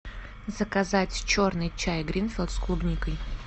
заказать черный чай гринфилд с клубникой